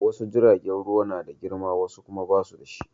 Wasu jiragen ruwa na da girma wasu kuma ba su da shi.